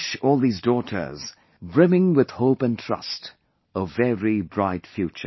I wish all these daughters, brimming with hope and trust, a very bright future